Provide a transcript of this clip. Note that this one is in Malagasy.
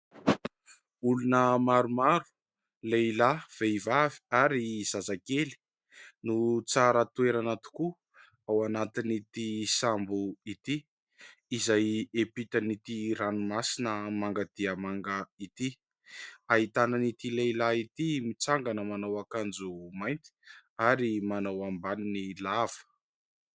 Olona maromaro: lehilahy, vehivavy, ary zazakely no tsara toerana tokoa ao anatin'ity sambo ity, izay hiampita an'ity ranomasina manga dia manga ity. Ahitana an'ity lehilahy ity mitsangana manao akanjo mainty ary manao ambaniny lava.